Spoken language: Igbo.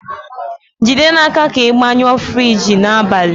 jide n'aka ka ị gbanyụọ Friji n'abalị!